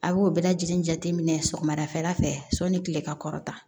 A b'o bɛɛ lajɛlen jateminɛ sɔgɔmada fɛ sɔni tile ka kɔrɔta